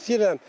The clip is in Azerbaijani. Xəstəyirəm.